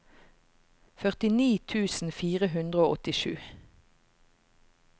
førtini tusen fire hundre og åttisju